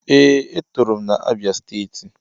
Ee e tọrọ m na Abia steeti.